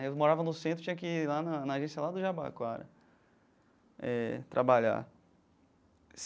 Eu morava no centro, tinha que ir lá na na agência lá do Jabaquara eh trabalhar.